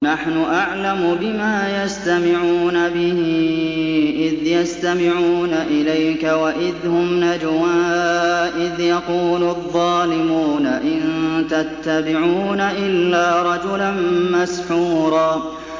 نَّحْنُ أَعْلَمُ بِمَا يَسْتَمِعُونَ بِهِ إِذْ يَسْتَمِعُونَ إِلَيْكَ وَإِذْ هُمْ نَجْوَىٰ إِذْ يَقُولُ الظَّالِمُونَ إِن تَتَّبِعُونَ إِلَّا رَجُلًا مَّسْحُورًا